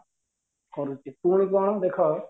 କରୁଛି ପୁଣି କଣ ଦେଖ